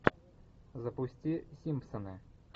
запусти симпсоны